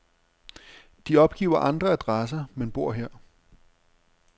De opgiver andre adresser, men bor her.